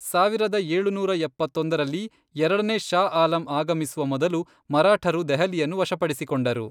ಸಾವಿರದ ಏಳುನೂರ ಎಪ್ಪತ್ತೊಂದರಲ್ಲಿ, ಎರಡನೇ ಷಾ ಆಲಂ ಆಗಮಿಸುವ ಮೊದಲು ಮರಾಠರು ದೆಹಲಿಯನ್ನು ವಶಪಡಿಸಿಕೊಂಡರು.